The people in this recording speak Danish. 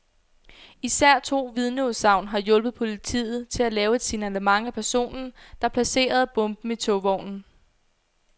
Især to vidneudsagn har hjulpet politiet til at lave et signalement af personen, der placerede bomben i togvognen.